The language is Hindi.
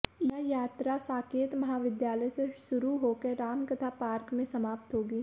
यह यात्रा साकेत महाविद्यालय से शुरू होकर रामकथा पार्क में समाप्त होगी